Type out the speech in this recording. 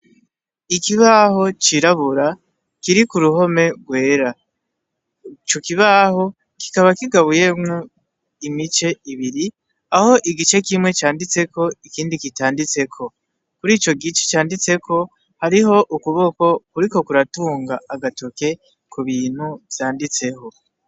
Ikibaho cirabura kiri k'uruhome rwera, ico kibaho kikaba kigabuyemwo imice ibiri aho igice kimwe canditseko, ikindi kitanditseko, kuri icogice canditseko hariho ukuboko kuriko kuratunga agatoke kubintu vyanditseho.